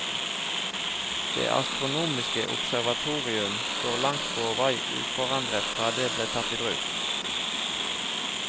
Det astronomiske observatorium står langt på vei uforandret fra det ble tatt i bruk.